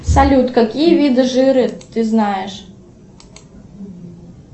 салют какие виды жира ты знаешь